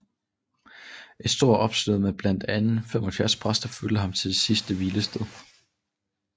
Et stort optog med blandt andet 75 præster fulgte ham til det sidste hvilested